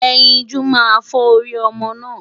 Ẹyinjú máa fọ́ orí ọmọ náà.